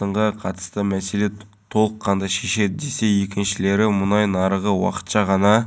дін және исламды уйрену саласынан жоғары білімі болуы тиіс владимир бажин санкт-петербург